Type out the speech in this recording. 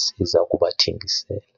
siza kubathengisela.